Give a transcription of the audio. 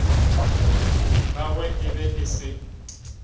gagwe e be e se